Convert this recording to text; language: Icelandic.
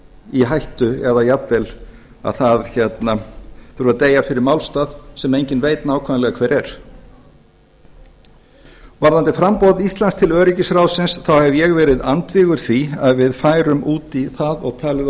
í hættu eða jafnvel að það þurfi að deyja fyrir málstað sem enginn veit nákvæmlega hver er varðandi framboð íslands til öryggisráðsins þá hef ég verið andvígur því að við færum út í það og talið